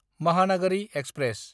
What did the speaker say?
Mahanagari express